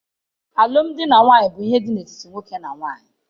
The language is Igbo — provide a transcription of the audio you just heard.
Alụmdi na nwunye bụ ihe dị n'etiti nwoke na nwaanyị.